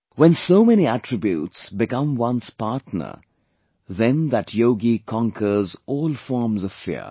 When so many attributes become one's partner, then that yogi conquers all forms of fear